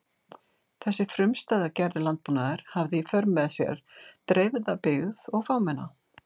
Þessi frumstæða gerð landbúnaðar hafði í för með sér dreifða byggð og fámenna.